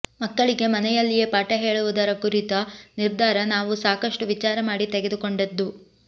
ಮಕ್ಕಳಿಗೆ ಮನೆಯಲ್ಲಿಯೇ ಪಾಠ ಹೇಳುವುದರ ಕುರಿತ ನಿರ್ಧಾರ ನಾವು ಸಾಕಷ್ಟು ವಿಚಾರ ಮಾಡಿ ತೆಗೆದುಕೊಂಡದ್ದು